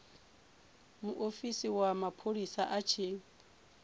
muofisi wa mapholisa a tshi